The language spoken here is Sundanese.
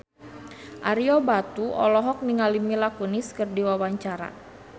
Ario Batu olohok ningali Mila Kunis keur diwawancara